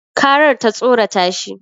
Karar ta tsorata shi